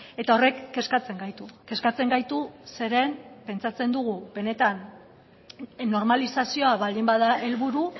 eta horrek kezkatzen gaitu kezkatzen gaitu zeren pentsatzen dugu benetan normalizazioa baldin bada helburu